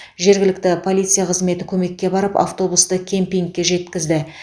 жергілікті полиция қызметі көмекке барып автобусты кемпингке жеткізді